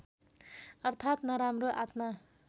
अर्थात् नराम्रो आत्मा